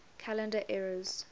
calendar eras